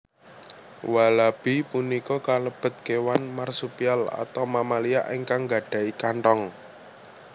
Walabi punika kalebet kéwan marsupial atau mamalia ingkang nggadhahi kanthong